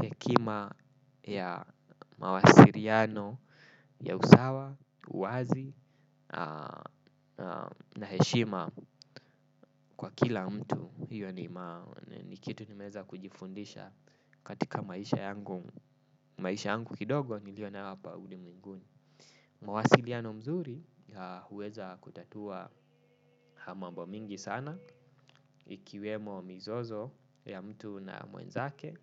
Hekima ya mawasiliano, ya usawa, uwazi, na heshima kwa kila mtu hiyo ni kitu nimeeza kujifundisha katika maisha yangu maisha yangu kidogo niliyo nayo hapa ulimwenguni mawasiliano mzuri huweza kutatua mambo mingi sana. Ikiwemo mizozo ya mtu na mwenzake.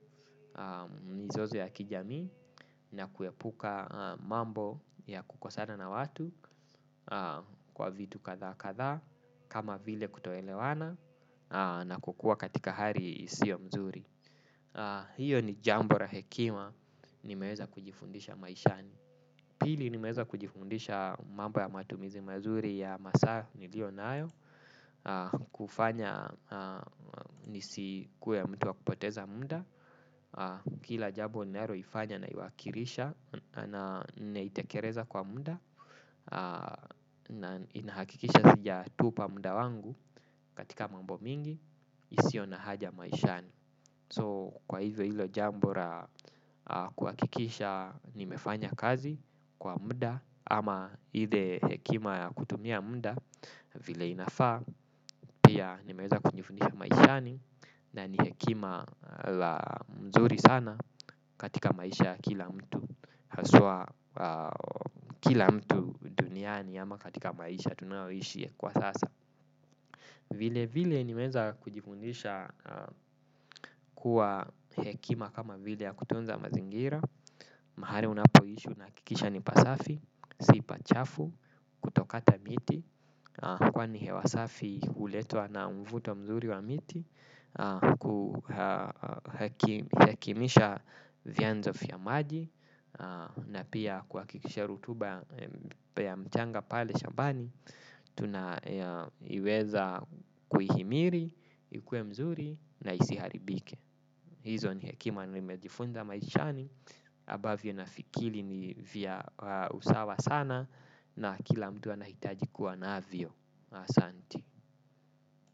Mizozo ya kijamii na kuepuka mambo ya kukosana na watu. Kwa vitu kadhaa kadhaa kama vile kutoelewana na kukua katika hali isiyo mzuri. Hiyo ni jambo la hekima nimeeza kujifundisha maishani. Pili nimeeza kujifundisha mambo ya matumizi mazuri ya masaa nilio nayo. Kufanya nisikue mtu wa kupoteza muda kila jambo ninaloifanya naiwakilisha na itekeleza kwa muda. Na inahakikisha sija tupa muda wangu katika mambo mingi. Isio na haja maishani So kwa hivo hilo jambo la kuhakikisha nimefanya kazi kwa muda. Ama ile hekima ya kutumia muda vile inafaa. Pia nimeeza kujifundisha maishani na ni hekima la mzuri sana katika maisha kila mtu. Haswa kila mtu duniani ama katika maisha tunayoishi kwa sasa. Vile vile nimeeza kujifundisha kuwa hekima kama vile ya kutunza mazingira. Mahali unapo ishi unahakikisha ni pasafi, sipachafu, kutokata miti. Kwani hewa safi huletwa na mvuto mzuri wa miti. Kuhakimisha vianzo vya maji na pia kuhakikisha rutuba ya mchanga pale shambani. Tuna iweza kuhimiri. Ikue mzuri na isiharibike. Hizo ni hekima na nimejifunza maishani ambavyo na fikiri ni vya usawa sana. Na kila mtu anahitaji kuwa navyo. Asanti.